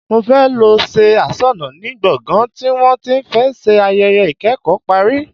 Mo fẹ́ lọ ṣe aṣọnà ní gbọ̀ngán tí wọ́n ti fẹ́ ṣe ayẹyẹ ikẹ́kọ̀ọ́ parí.